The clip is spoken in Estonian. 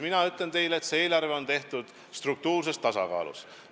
Mina ütlen teile, et see eelarve on tehtud struktuurses tasakaalus.